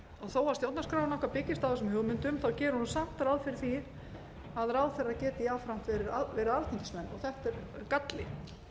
þó að stjórnarskráin byggist á þessum hugmyndum þá gerir hún samt ráð fyrir því að ráðherrar geti jafnframt verið alþingismenn og þetta er galli